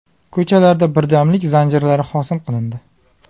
Ko‘chalarda birdamlik zanjirlari hosil qilindi.